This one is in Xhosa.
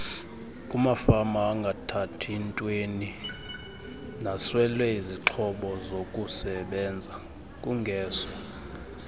kumafamaangathathi ntweninasweleizixhobozokusebenza kungeso